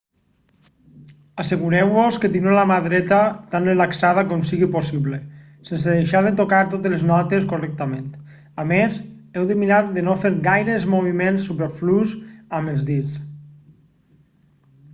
assegureu-vos que teniu la mà dreta tan relaxada com sigui possible sense deixar de tocar totes les notes correctament a més heu de mirar de no fer gaires moviments superflus amb els dits